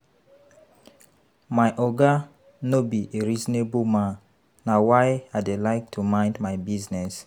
My Oga no be a reasonable man na why I dey like to mind my business